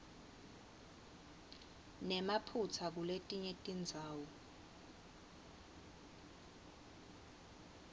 nemaphutsa kuletinye tindzawo